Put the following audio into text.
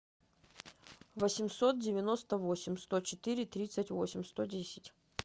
восемьсот девяносто восемь сто четыре тридцать восемь сто десять